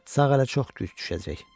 Sağ ələ çox güc düşəcək.